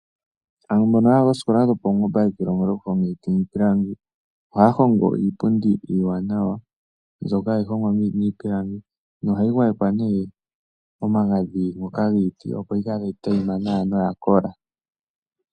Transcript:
Aantu mbono ya ya koositola dhopaungomba ye kiilongela okuhonga iiti niipilangi oha ya hongo iipundi iiwanawa mbyoka hayi hongwa miipilangi noha yi gwayekwa nee omagadhi ngoka giiti opo yi kale tayi tayima nawa noya kola.